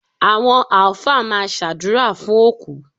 Àwọn Alfa máa ṣàdúrà fún òkú.